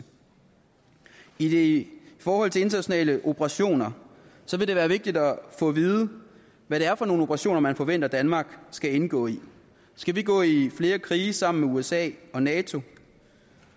i i forhold til internationale operationer vil det være vigtigt at få at vide hvad det er for nogle operationer man forventer at danmark skal indgå i skal vi gå i flere krige sammen med usa og nato